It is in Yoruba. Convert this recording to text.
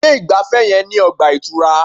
Ilé ìgbafẹ́ yẹn ní ọgbà ìtura.